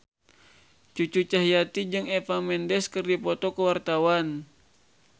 Cucu Cahyati jeung Eva Mendes keur dipoto ku wartawan